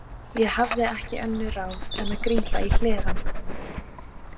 Ég hafði ekki önnur ráð en að grípa í hlerann.